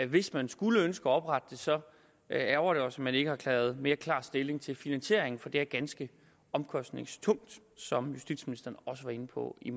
hvis man skulle ønske at oprette det så ærgrer det os at man ikke har taget mere klar stilling til finansieringen for det er ganske omkostningstungt som justitsministeren også var inde på i